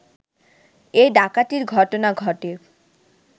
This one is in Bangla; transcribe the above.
এ ডাকাতির ঘটনা ঘটে